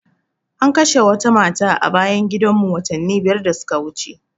An kashe wata mata a bayan gidan mu watanni biyar da suka wuce